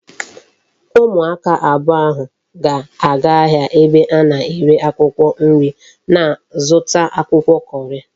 Umu aka abuo ahu ga aga ahia ebe ana ere akwukwo nri na zuta akwukwo curry